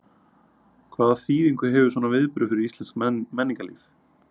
Hvaða þýðingu hefur svona viðburður fyrir íslenskt menningarlíf?